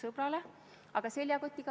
Aitäh!